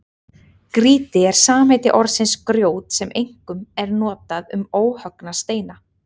Grýti er samheiti orðsins grjót sem einkum er notað um óhöggna steina.